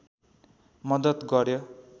मद्दत गर्‍यो